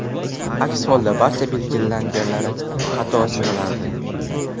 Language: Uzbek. Aks holda, barcha belgilaganlari xato sanalardi.